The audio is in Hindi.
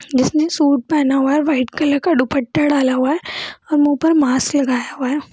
जिसने सूट पहना हुआ है व्हाइट कलर का दुपट्टा डाला हुआ है और मुंह पर मास्क लगाया हुआ है।